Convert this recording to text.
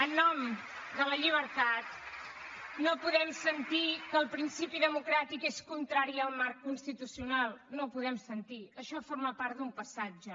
en nom de la llibertat no podem sentir que el principi democràtic és contrari al marc constitucional no ho podem sentir això forma part d’un passat ja